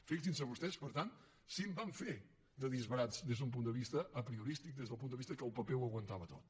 fixin se vostès per tant si en van fer de disbarats des d’un punt de vista apriorístic des del punt de vista que el paper ho aguantava tot